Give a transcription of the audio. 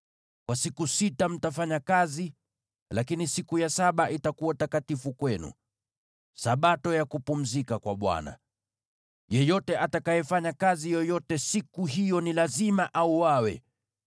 Kwa siku sita, mtafanya kazi, lakini siku ya saba itakuwa takatifu kwenu, Sabato ya kupumzika kwa Bwana . Yeyote atakayefanya kazi yoyote siku hiyo ni lazima auawe.